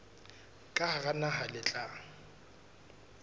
ka hara naha le tla